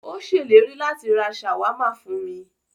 Ó ṣèlérí láti rá ṣàwámà fún mí.